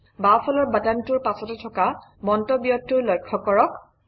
বাওঁফালৰ বাটনটোৰ পাছতে থকা মন্তব্যটো লক্ষ্য কৰক